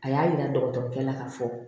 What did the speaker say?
A y'a yira dɔgɔtɔrɔla ka fɔ